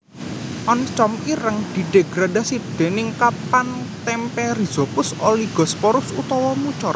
Oncom ireng didegradasi déning kapang témpé Rhizopus oligosporus utawa Mucor